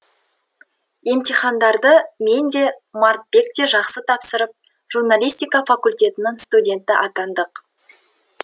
емтихандарды мен де мартбек те жақсы тапсырып журналистика факультетінің студенті атандық